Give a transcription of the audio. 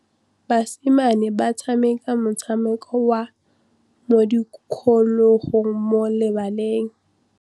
Basimane ba tshameka motshameko wa modikologô mo lebaleng.